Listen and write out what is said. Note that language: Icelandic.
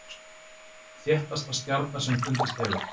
Þéttasta stjarna sem fundist hefur